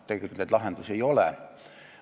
Tegelikult lahendusi ei ole.